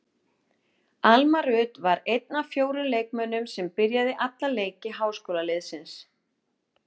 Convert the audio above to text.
Alma Rut var var einn af fjórum leikmönnum sem byrjaði alla leiki háskólaliðsins.